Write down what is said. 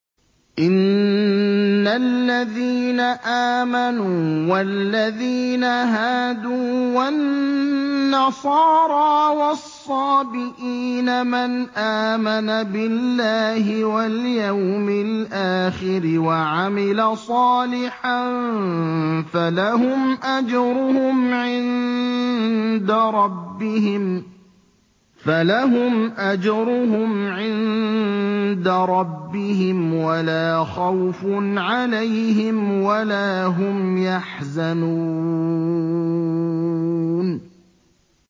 إِنَّ الَّذِينَ آمَنُوا وَالَّذِينَ هَادُوا وَالنَّصَارَىٰ وَالصَّابِئِينَ مَنْ آمَنَ بِاللَّهِ وَالْيَوْمِ الْآخِرِ وَعَمِلَ صَالِحًا فَلَهُمْ أَجْرُهُمْ عِندَ رَبِّهِمْ وَلَا خَوْفٌ عَلَيْهِمْ وَلَا هُمْ يَحْزَنُونَ